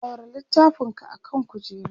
ɗaura littafin ka akan kujera!